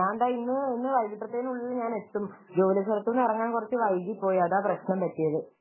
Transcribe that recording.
ഞാനിതാ ഇന്ന് വൈകിട്ട് ആവുമ്പോഴേക്കും എത്തും ജോലി സ്ഥലത്തുന്നു ഇറങ്ങാൻ കുറച്ച വൈകിപ്പോയി അതാ പ്രശ്നം പറ്റിയത്